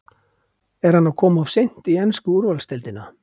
Er hann að koma of seint í ensku úrvalsdeildina?